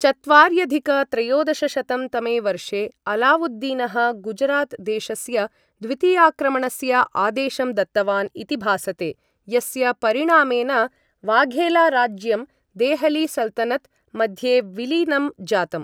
चत्वार्यधिक त्रयोदशशतं तमे वर्षे, अलावुद्दीनः गुजरात् देशस्य द्वितीयाक्रमणस्य आदेशं दत्तवान् इति भासते, यस्य परिणामेन वाघेला राज्यं देहली सल्तनत् मध्ये विलीनं जातम्।